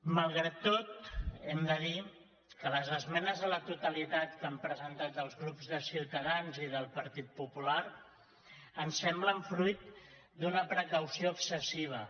malgrat tot hem de dir que les esmenes a la totalitat que han presentat els grups de ciutadans i del partit popular ens semblen fruit d’una precaució excessiva